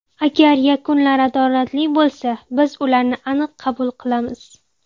Agar yakunlar adolatli bo‘lsa, biz ularni aniq qabul qilamiz.